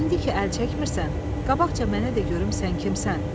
İndi ki əl çəkmirsən, qabaqca mənə də görüm sən kimsən?